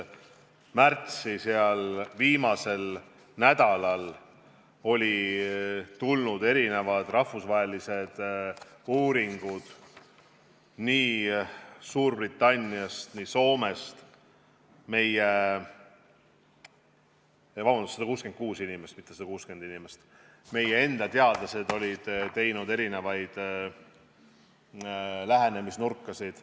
Märtsi viimasel nädalal olid tulnud rahvusvahelised uuringud Suurbritanniast ja Soomest, meie enda teadlased olid kasutanud erinevaid lähenemisnurkasid.